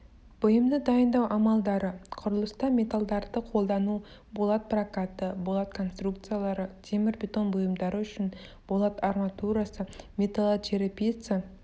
бұйымды дайындау амалдары құрылыста металлдарды қолдану болат прокаты болат конструкциялары темірбетон бұйымдары үшін болат арматурасы металлочерепица